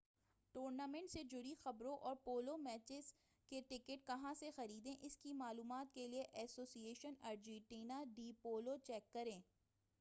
tournament سے جڑی خبروں اور پولو میچوں کے ٹکٹ کہاں سے خریدیں اس کی معلومات کیلئے association Argentina de polo check کریں